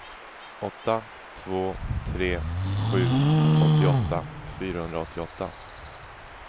åtta två tre sju åttioåtta fyrahundraåttioåtta